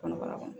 Kɔnɔbara kɔnɔ